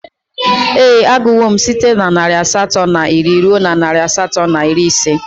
Ee, agụwo m site na narị asatọ na iri ruo narị asatọ na iri ise